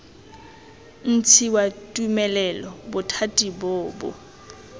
ntshiwa tumelelo bothati bo bo